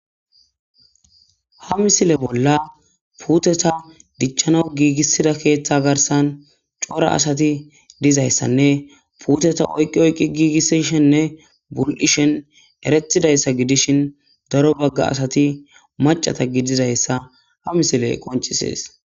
Ha misile bolla puuteta dichchana giigisida keeththa garsan cora asati dizayssanne puuteta oyqqi oyqqi giigisishenne bul'ishen eretidayssa gidishin daro bagga asati macata gidizayssa ha misile qoncisees.